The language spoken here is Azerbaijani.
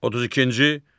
32-ci.